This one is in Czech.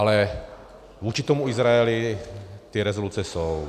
Ale vůči tomu Izraeli ty rezoluce jsou.